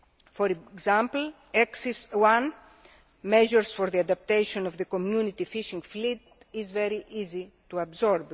For example, Axis 1, Measures for the adaptation of the Community Fishing Fleet', is very easy to absorb.